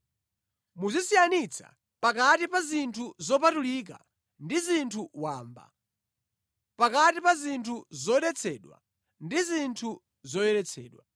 Muzisiyanitsa pakati pa zinthu zopatulika ndi zinthu wamba, pakati pa zinthu zodetsedwa ndi zinthu zoyeretsedwa,